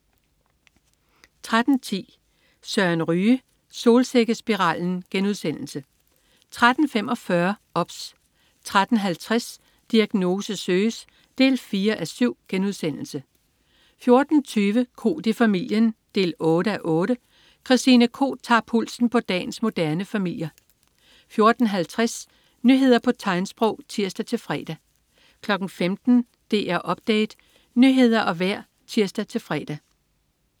13.10 Søren Ryge. Solsikkespiralen* 13.45 OBS 13.50 Diagnose søges 4:7* 14.20 Koht i familien 8:8. Christine Koht tager pulsen på dagens moderne familier 14.50 Nyheder på tegnsprog (tirs-fre) 15.00 DR Update. Nyheder og vejr (tirs-fre)